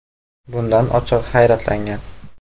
Bundan ochig‘i hayratlangangan.